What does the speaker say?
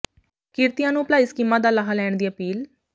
ਕਿਰਤੀਆਂ ਨੂੰ ਭਲਾਈ ਸਕੀਮਾਂ ਦਾ ਲਾਹਾ ਲੈਣ ਦੀ ਅਪੀਲ